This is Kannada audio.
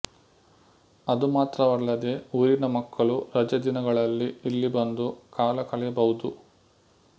ಅದು ಮಾತ್ರವಲ್ಲದೆ ಊರಿನ ಮಕ್ಕಳು ರಜೆದಿನಗಳಲ್ಲಿ ಇಲ್ಲಿ ಬಂದು ಕಾಲಕಳೆಯಬಹುದು